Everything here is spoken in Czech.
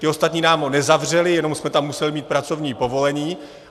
Ti ostatní nám ho nezavřeli, jenom jsme tam museli mít pracovní povolení.